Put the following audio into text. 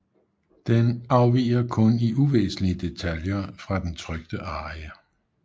Den afviger kun i uvæsentlige detaljer fra den trykte arie